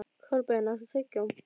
Kolbeinn, áttu tyggjó?